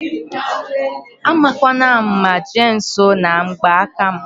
A makwana ama jee nsọ na ngba aka m